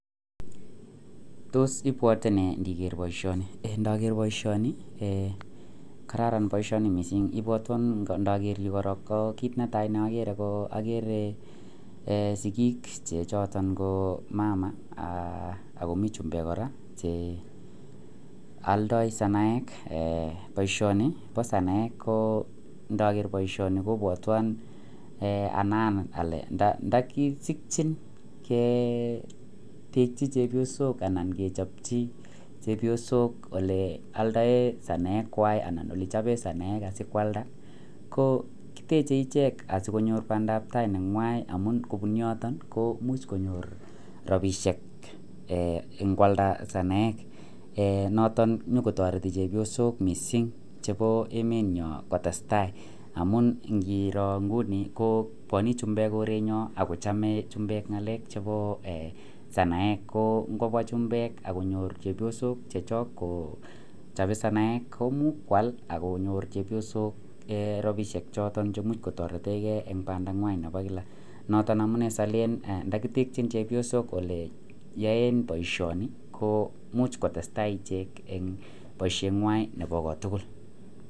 Tos ibwate ni ger baishoni en nager baishoni kararan baishoni mising niton nager kit netai ne agere kiagere sigik ye yoton ko mama ako mi chumbek kora che aldai sonoek baishoni ba sonoek ko ndaker baishoni kobwaton ntakisikin gei bik chechepsonok anan bik chepyosok che yaldae sonoek kwak ole choben sonoek kikwalda ko koteche ichek si konyor bandab tai nenywan si kobun yoton kimuch konyor rabishek ingwalda sonoek noton konyi kotareti chepyosok mising chebo emet nyon kora kotestai amun ngiro inguni ko kinyo chumbek koorenyon kochame chumbek ngalek chebo sanaek ko ngobwa chumbek akonyor chepyosok akochabe sonoek kwak akonyor chepyosok rabishek choton che imuch konyor taretengei en banda nywan nebo kila noton aalen ntakitekin chepyosok yaen baishoni ko imuch kotestai ichek en baishenywan en kot tugul